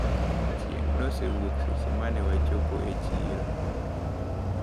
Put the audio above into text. Chieng` neosewuok seche mane wachopo e chiro.